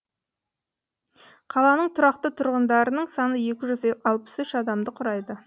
қаланың тұрақты тұрғындарының саны екі жүз алпыс үш адамды құрайды